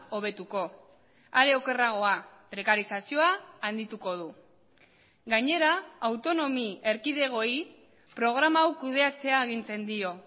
hobetuko are okerragoa prekarizazioa handituko du gainera autonomi erkidegoei programa hau kudeatzea agintzen dio